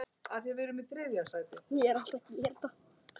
Hvað get ég tekið með?